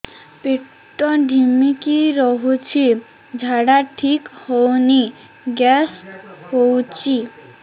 ପେଟ ଢିମିକି ରହୁଛି ଝାଡା ଠିକ୍ ହଉନି ଗ୍ୟାସ ହଉଚି